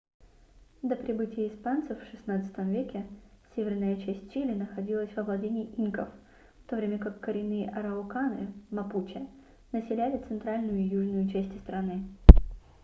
до прибытия испанцев в 16 веке северная часть чили находилась во владении инков в то время как коренные арауканы мапуче населяли центральную и южную части страны